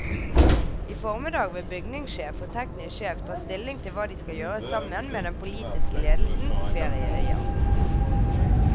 I formiddag vil bygningssjef og teknisk sjef ta stilling til hva de skal gjøre sammen med den politiske ledelsen på ferieøya.